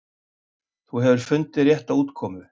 Þú hefur fundið rétta útkomu.